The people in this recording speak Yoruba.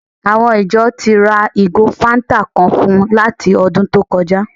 Àwọn ìjọ ti ra ìgò fáńtà kan fún un láti ọdún tó kọjá